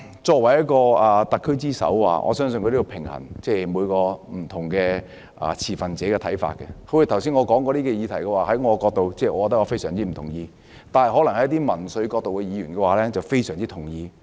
作為特區之首，我相信她要平衡不同持份者的看法，正如剛才我提及的議題，在我的角度來看，我非常不同意，但一些從民粹角度出發的議員，則可能非常同意。